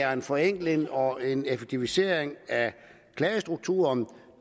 er en forenkling og en effektivisering af klagestrukturen